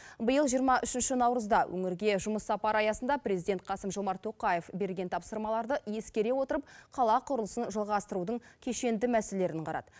биыл жиырма үшінші наурызда өңірге жұмыс сапары аясында президент қасым жомарт тоқаев берген тапсырмаларды ескере отырып қала құрылысын жалғастырудың кешенді мәселелерін қарады